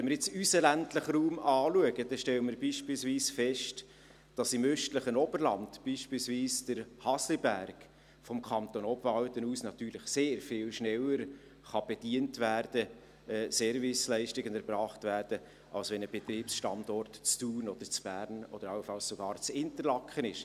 Wenn wir unseren ländlichen Raum anschauen, stellen wir beispielsweise fest, dass im östlichen Oberland, beispielsweise der Hasliberg, vom Kanton Obwalden aus natürlich sehr viel schneller bedient werden kann, Serviceleistungen erbracht werden können, als wenn der Betriebsstandort in Thun, in Bern oder allenfalls in Interlaken wäre.